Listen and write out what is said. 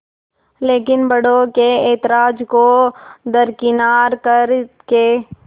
लेकिन बड़ों के ऐतराज़ को दरकिनार कर के